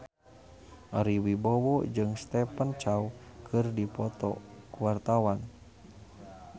Ari Wibowo jeung Stephen Chow keur dipoto ku wartawan